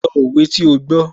Sọ òwe tí ó gbó